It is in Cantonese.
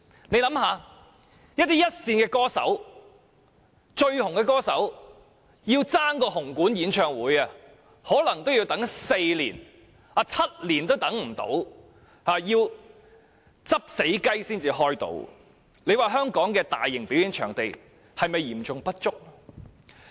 試想一想，這些一線和最受歡迎的歌手均要爭奪紅館的演唱會檔期，而且動輒需要輪候4年甚至7年也不果，最終要"執死雞"才能如願，香港的大型表演場地是否嚴重不足？